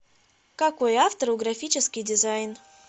какой автор у графический дизайн